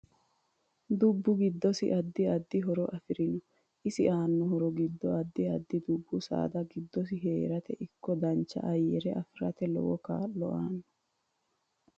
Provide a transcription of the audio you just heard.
Dubbu giddosi addi addi horo afirinno isi aanno horo giddo addi addi dubbu saada giddosi heerate ikko dancha ayyare afirate lowo kaa'lo aanno